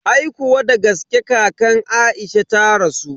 Aikuwa dagaske kakan Aisha ta rasu.